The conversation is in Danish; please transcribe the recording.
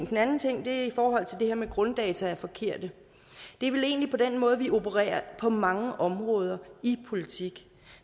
den anden ting er i forhold til det her med at grunddata er forkerte det er vel egentlig på den måde vi opererer på mange områder i politik